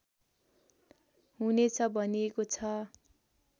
हुनेछ भनिएको छ